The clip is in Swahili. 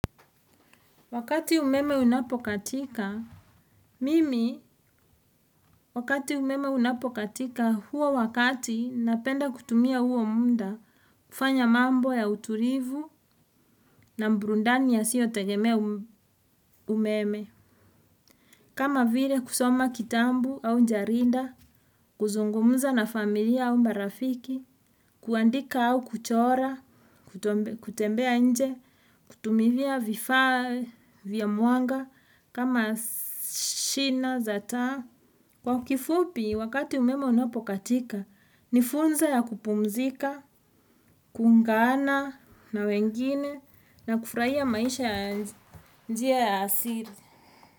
Wakati umeme unapokatika mimi wakati umeme unapokatika huo wakati napenda kutumia huo muda. Kufanya mambo ya utulivu na burudani yasiyo tegemea umeme. Kama vile kusoma kitambu au jarida kuzungumza na familia au marafiki kuandika au kuchora kutembea nje kutumilia vifaa vya mwanga kama shina, za taa. Kwa kifupi, wakati umeme unapokatika, nifursa ya kupumzika, kuungana na wengine na kufurahia maisha ya asili.